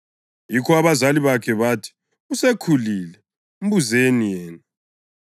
Yikho abazali bakhe bathi, “Usekhulile; mbuzeni yena.”